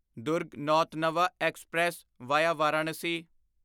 Durg Nautanwa express via Varanasi